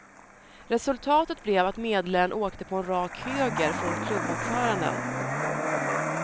Resultatet blev att medlaren åkte på en rak höger från klubbordföranden.